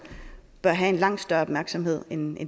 bør have en langt større opmærksomhed end